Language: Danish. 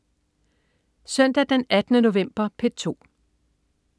Søndag den 18. november - P2: